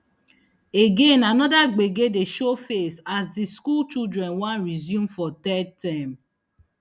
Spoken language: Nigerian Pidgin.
again anoda gbege dey show face as di school children wan resume for third term